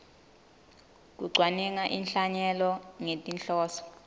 kucwaninga inhlanyelo ngetinhloso